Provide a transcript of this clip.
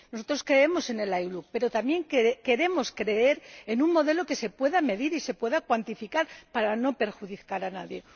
Nosotros creemos en el ILUC, pero también queremos creer en un modelo que se pueda medir y se pueda cuantificar, para no perjudicar a nadie.